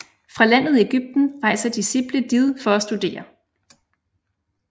Fra landet Egypten rejser disciple did for at studere